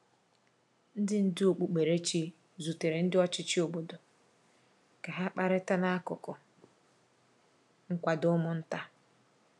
Ndị ndú okpukperechi zutere ndị ọchịchị obodo ka ha kparịta n’akụkụ nkwado ụmụ nta.